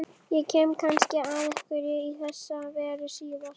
Ég kem kannski að einhverju í þessa veru síðar.